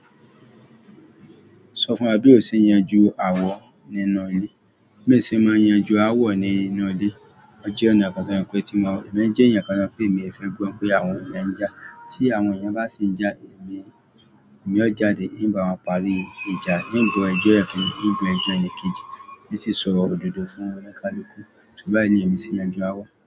Sọ fún wa bí o ṣe yanju áwọ̀ nínú ilé. Bí hin ṣe máa ń yanju áwọ̀ nínú ilé. Mo jẹ́ ẹnìyàn kan tí ó jẹ́ wípé pé tí mo, èmi jẹ́ ènìyàn kan tí e mi ò fẹ́ gbọ́ wí pé àwọn èèyàn ń jà. Tí àwọn èèyàn bá ṣìí ń jà, èmi, èmi ó jáde, ń bá wọn parí ìjà, ń gbọ́ ẹjọ́ bikini, ń gbọ́ ẹjọ́ ẹni kejì, hun sì sọ òdodo fún ó ní kálukú. Torí báyìí ni èmi ṣe ń yanju áawọ̀.